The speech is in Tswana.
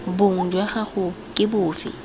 bong jwa gago ke bofe